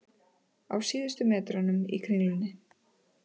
Á síðustu metrunum í Kringlunni